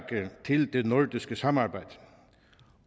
til det nordiske samarbejde